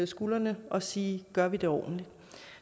skulderen og sige gør vi det ordentligt